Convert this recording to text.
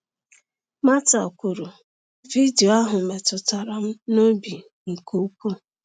Martha kwuru: “Vidiyo ahụ metụtara m n’obi nke ukwuu.”